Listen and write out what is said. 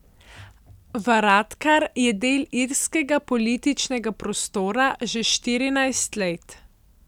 Varadkar je del irskega političnega prostora že štirinajst let.